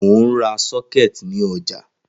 Mo n ra sockets ni oja